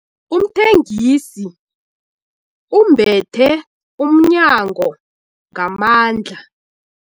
Umthengisi ubethe umnyango ngamandla.